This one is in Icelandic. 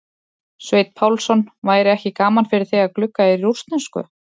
Sveinn Pálsson: væri ekki gaman fyrir þig að glugga í rússnesku?